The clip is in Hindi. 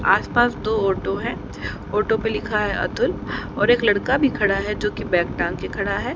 आसपास दो ऑटो है ऑटो पे लिखा है अतुल और एक लड़का भी खड़ा है जो की बैग टांग के खड़ा है।